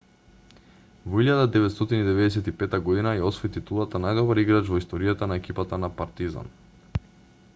во 1995 година ја освои титулата најдобар играч во историјата на екипата на партизан